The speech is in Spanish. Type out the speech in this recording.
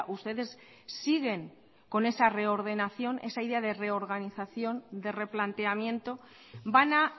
ustedes siguen con esa reordenación esa idea de reorganización de replanteamiento van a